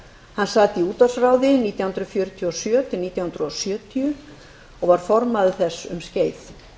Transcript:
hann sat í útvarpsráði nítján hundruð fjörutíu og sjö nítján hundruð sjötíu og var formaður þess um skeið